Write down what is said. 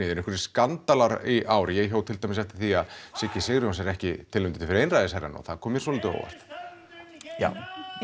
eru einhverjir skandalar í ár ég hjó til dæmis eftir því að Siggi Sigurjóns er ekki tilnefndur fyrir einræðisherrann og það kom mér svolítið á óvart já